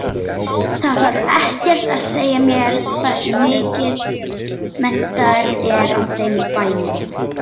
Það þarf ekkert að segja mér hversu mikill metnaður er á þeim bænum.